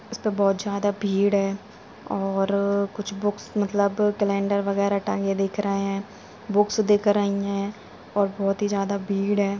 इसपे बहोत ज्यादा भीड़ है और कुछ बुक्स मतलब कैलंडर वगेरा टांगे दिख रहे है बुक्स दिख रही है और बहोत ही ज्यादा भीड़ है।